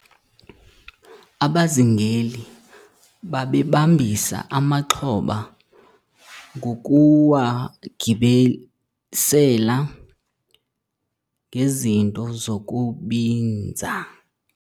abazingeli babebambisa amaxhoba ngokuwagibisela ngezinto zokubinza